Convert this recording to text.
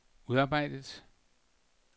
udarbejdet